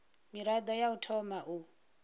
mirado ya u thoma u